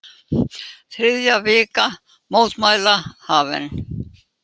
Þriðja vika mótmæla hafin